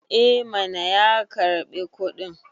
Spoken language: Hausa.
eh mana ya karbi kudin